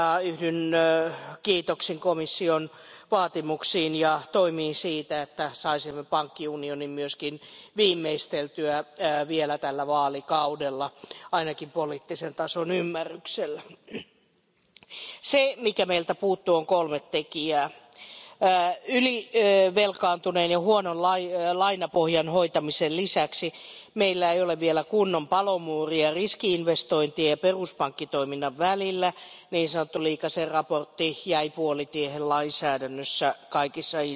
Yhdyn kiitoksin komission vaatimuksiin ja toimiin sen edistämiseksi, että saisimme pankkiunionin myös viimeisteltyä vielä tällä vaalikaudella, ainakin poliittisen tason ymmärryksellä. Meiltä puuttuu kolme tekijää ylivelkaantuneiden huonon lainapohjan hoitamisen lisäksi. Meillä ei ole vielä kunnon palomuuria riski investointien ja peruspankkitoiminnan välillä. Niin sanottua Liikasen raporttia koskeva lainsäädäntö jäi puolitiehen kaikissa